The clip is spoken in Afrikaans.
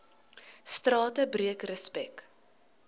strate breek respek